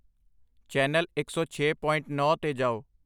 channel ਇੱਕ ਸੌ ਛੇ ਪੁਆਇੰਟ ਨੌਂ 'ਤੇ ਜਾਓ